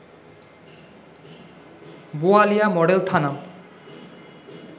Boalia model থানা